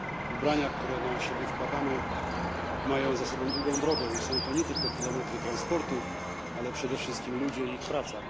Ubrania, które na siebie wkładamy, mają za sobą długą drogę i są to nie tylko kilometry transportu, ale przede wszystkim ludzie i ich praca.